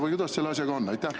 Või kuidas selle asjaga on?